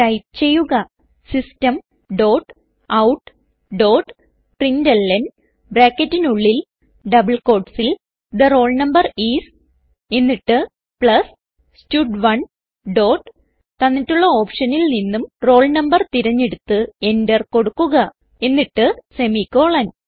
type ചെയ്യുക system dot out dot println ബ്രാക്കറ്റിനുള്ളിൽ double quotesൽ തെ റോൾ നംബർ ഐഎസ് എന്നിട്ട് പ്ലസ് സ്റ്റഡ്1 ഡോട്ട് തന്നിട്ടുള്ള ഓപ്ഷനിൽ നിന്നും roll no തിരഞ്ഞെടുത്ത് Enter കൊടുക്കുക എന്നിട്ട് സെമിക്കോളൻ